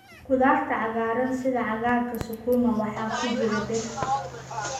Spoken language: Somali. Khudaarta cagaaran sida cagaarka sukuma waxaa ku jira bir.